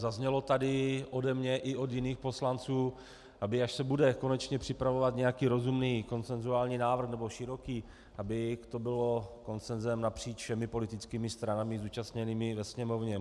Zaznělo tady od mě i od jiných poslanců, aby až se bude konečně připravovat nějaký rozumný konsenzuální návrh, nebo široký, aby to bylo konsenzem napříč všemi politickými stranami zúčastněnými ve Sněmovně.